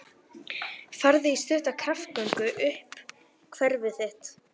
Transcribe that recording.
Farðu í stutta kraftgöngu um hverfið þitt.